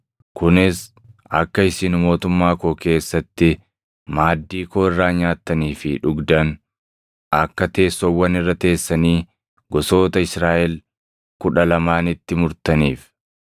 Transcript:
kunis akka isin mootummaa koo keessatti maaddii koo irraa nyaattanii fi dhugdan, akka teessoowwan irra teessanii gosoota Israaʼel kudha lamaanitti murtaniif.